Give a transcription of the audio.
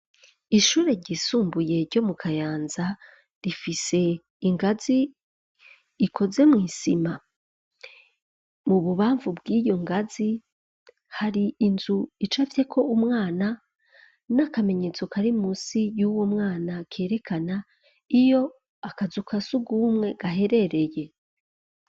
Ishure ryisumbuye, ryo mu Kayanza, rifise ingazi ikoze mw’isima; mu bubamvu bw'iyo ngazi, hari inzu, icafyeko umwana, n'akamenyetso, kari munsi y'uwo mwana, kerekana, iyo akazu ka surwumwe, gaherereye.